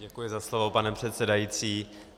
Děkuji za slovo, pane předsedající.